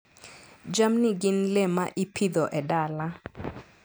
Jamni gin le ma ipidho e dala.